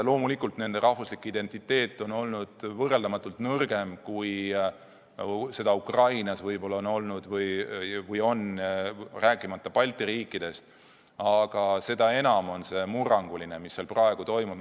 Loomulikult nende rahvuslik identiteet on olnud võrreldamatult nõrgem, kui ukrainlaste oma olnud on või on, rääkimata Balti riikidest, aga seda enam on murranguline, mis seal praegu toimub.